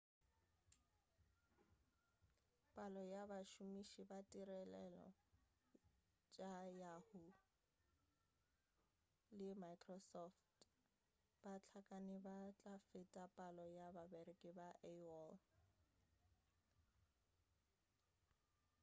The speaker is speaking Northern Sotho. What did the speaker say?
palo ya bašomiši ba ditirelo tša yahoo le microsoft ba hlakane ba tla feta palo ya bareki ba aol